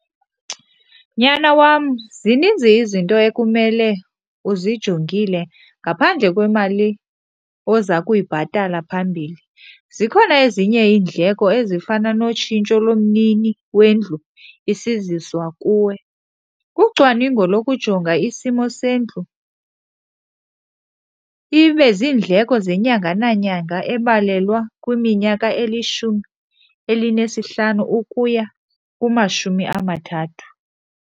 Nyana wam, zininzi izinto ekumele uzijongile ngaphandle kwemali oza kuyibhatala phambili. Zikhona ezinye iindleko ezifana notshintsho lomnini wendlu isiziswa kuwe, ucwaningo lokujonga isimo sendlu, ibe ziindleko zenyanga nanyanga ebalelwa kwiminyaka elishumi elinesihlanu ukuya kumashumi amathathu.